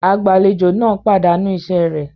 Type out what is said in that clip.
Agbàlejò náà pàdánù iṣẹ rẹ̀